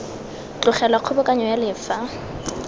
tlogelwa kgobokanyo ya le fa